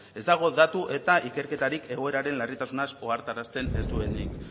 ez dago datu eta ikerketarik egoeraren larritasunaz ohartarazten ez duenik